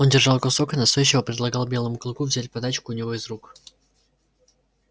он держал кусок и настойчиво предлагал белому клыку взять подачку у него из рук